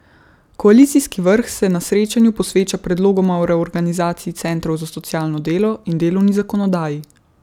Koalicijski vrh se na srečanju posveča predlogoma o reorganizaciji centrov za socialno delo in delovni zakonodaji.